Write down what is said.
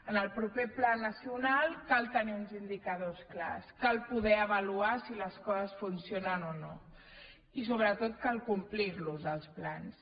en el proper pla nacional cal tenir uns indicadors clars cal poder avaluar si les coses funcionen o no i sobretot cal complir los els plans